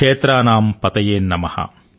క్షేత్రానామ్ పతయే నమః